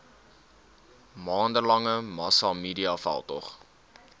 maande lange massamediaveldtog